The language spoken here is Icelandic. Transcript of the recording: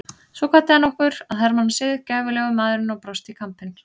Svo kvaddi hann okkur að hermannasið, gæfulegur maðurinn og brosti í kampinn.